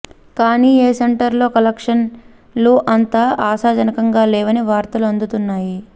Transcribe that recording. కానీ ఎ సెంటర్లలో కలెక్షన్లు అంత ఆశాజనకంగా లేవని వార్తలు అందుతున్నాయి